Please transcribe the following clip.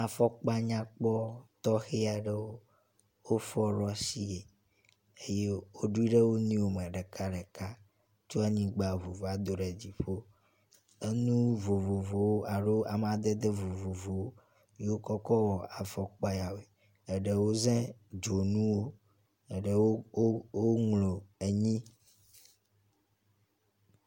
Afɔkpa nyakpɔ tɔxe aɖewo wofɔ ɖo asie eye woɖoe ɖe wo nɔewo me ɖeka ɖeka tso anyigba ŋu va do ɖe dziƒo. Enu vovovowo alo amadede vovovowo wotsɔ kɔ wɔ afɔkpa ya woe. Eɖewo, woza dzonuwo, eɖewo, woŋlɔ enyi.